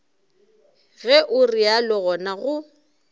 ge o realo gona go